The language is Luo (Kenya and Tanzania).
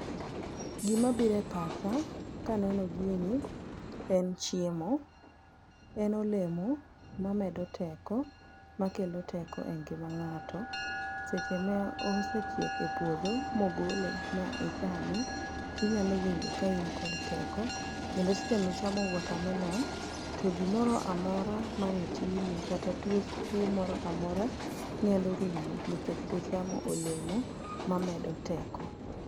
Gima biro e pacha kaneno gini en chiemo, en olemo ma medo teko, ma kelo teko e ngima ng'ato. Seche ma osechiek e puodho mogole ma ichame, tinyalo winjo ka in kod teko. Kendo seche michamo watermelon, to gimoro amora mane timi kata tuo moro amora nyalo rumo nikech ichamo olemo ma medo teko.